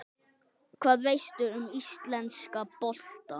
Hvað veistu um íslenska boltann?